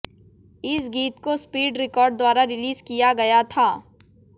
इस गीत को स्पीड रिकार्ड द्वारा रिलीज किया गया था